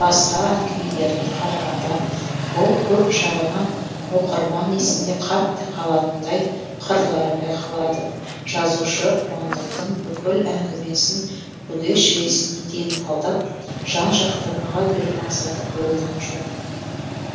басқа әңгімелеріне қарағанда бұл көп жағынан оқырман есінде қатты қалатындай қырлары байқалады жазушы қуандықтың бүкіл әңгімесін бүге шігесіне дейін талдап жан жақты баға беру мақсаты қойылған жоқ